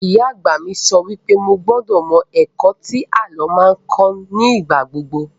Ìyá àgbà mi sọ wípé mo gbúdọ̀ mọ ẹ̀kọ́ tí àlọ́ máa ń kọ́ ní ìgbàgbogbo